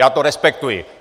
Já to respektuji.